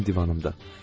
Mənim divanımda.